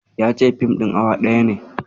Ya ce fim ɗin awa ɗaya ne.